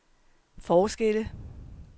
forskelle